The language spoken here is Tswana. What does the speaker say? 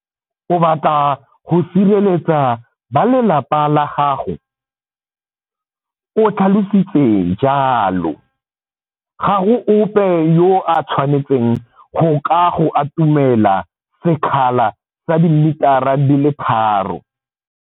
O batla go sireletsa balelapa la gago, o tlhalositse jalo. Ga go ope yo a tshwanetseng go ka go atumela sekgala sa dimitara di le tharo.